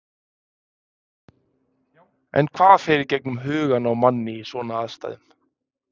En hvað fer í gegnum hugann á manni í svona aðstæðum?